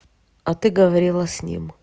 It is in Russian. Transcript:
а ты говорила с ним